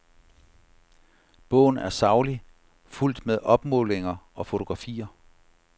Bogen er saglig, fuldt med opmålinger og fotografier.